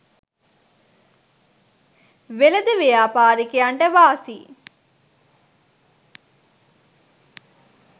වෙළෙඳ ව්‍යාපාරිකයන්ට වාසි